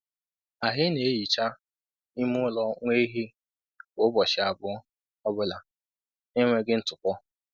Anyị na-ehichaa ime ụlọ nwa ehi kwa ụbọchị abụọ ọ bụla na-enweghị ntụpọ.